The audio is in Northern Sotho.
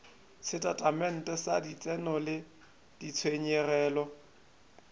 setatamente sa letseno le ditshenyegelo